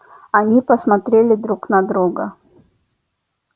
они посмотрели друг на друга